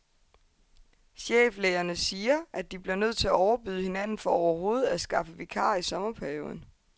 Cheflægerne siger, at de bliver nødt til at overbyde hinanden for overhovedet at skaffe vikarer i sommerperioden.